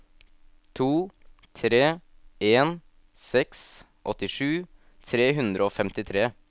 to tre en seks åttisju tre hundre og femtitre